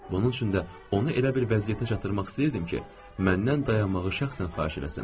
Bunun üçün də onu elə bir vəziyyətə çatdırmaq istəyirdim ki, məndən dayanmağı şəxsən xahiş eləsin.